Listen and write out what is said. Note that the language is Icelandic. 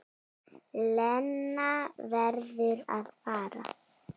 Lena verður að fara.